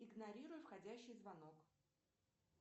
игнорируй входящий звонок